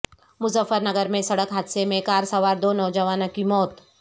مظفر نگر میں سڑک حادثہ میں کار سوار دو نوجوانوں کی موت